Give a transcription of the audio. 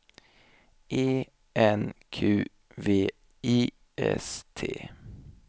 E N Q V I S T